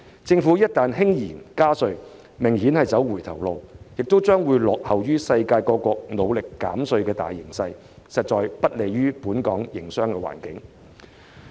政府一旦輕言加稅，明顯是在走回頭路，亦將會落後於世界各國努力減稅的大形勢，實在不利於本港的營商環境。